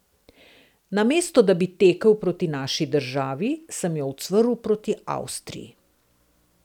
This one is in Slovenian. Namesto da bi tekel proti naši državi, sem jo ucvrl proti Avstriji.